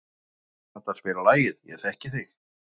Þórarna, kanntu að spila lagið „Ég þekki þig“?